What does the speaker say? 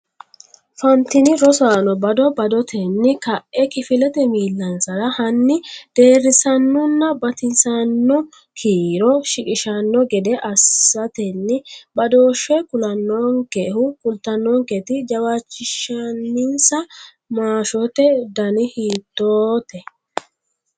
Fantini? Rosaano bado badotenni ka’e kifilete miillansara hanni, deerrisaanonna batinyisaano kiiro shiqishshanno gede assatenni badooshshe kulannonkehu kultannonketi jawaachishinsa maashote dani hiitote?